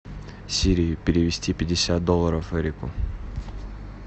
сири перевести пятьдесят долларов эрику